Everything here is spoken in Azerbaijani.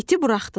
İti buraxdılar.